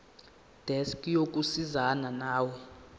desk yokusizana nawe